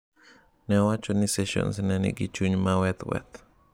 Ne owacho ni Sessions ne nigi chung' maweth weth.